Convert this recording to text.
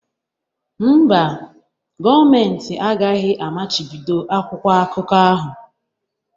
Mba, gọọmentị agaghị amachibido akwụkwọ akụkọ ahụ